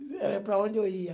Era para onde eu ia.